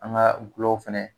An ga gulɔw fɛnɛ